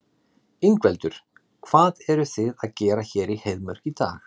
Ingveldur: Hvað eruð þið að gera hér í Heiðmörk í dag?